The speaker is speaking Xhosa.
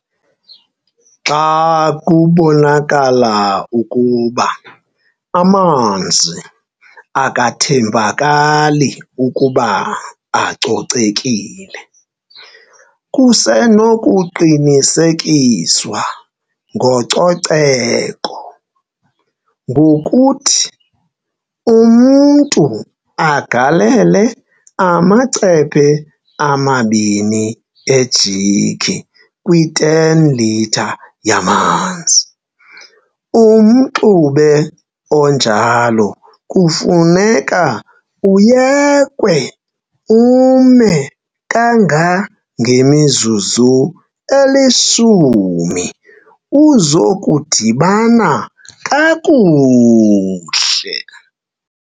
Xa kubonakala ukuba amanzi akathembakali ukuba acocekile, kusenokuqinisekiswa ngococeko, ngokuthi umntu agalele amacephe amabini ejik kwi 10 litre yamanzi, umxube onjalo kufuneka uyekwe ume kanga ngemizuzu elishumi uzokudibana kakuhle.